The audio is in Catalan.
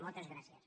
moltes gràcies